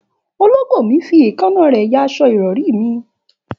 Òlògbò mi fi ẹ̀kaná rẹ yà àsọ ìrọrì mì